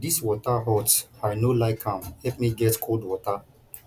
dis water hot i no like am help me get cold water